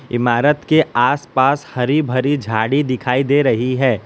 इमारत के आस पास हरी भरी झाड़ी दिखाई दे रही है।